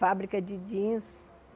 Fábrica de jeans.